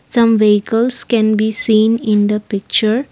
some vehicles can be seen in the picture.